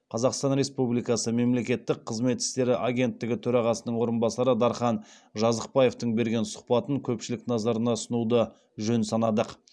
қазақстан республикасы мемлекеттік қызмет істері агенттігі төрағасының орынбасары дархан жазықбаевтың берген сұхбатын көпшілік назарына ұсынуды жөн санадық